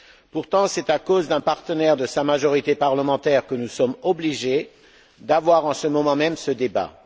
Pourtant c'est à cause d'un partenaire de sa majorité parlementaire que nous sommes obligés d'avoir en ce moment même ce débat.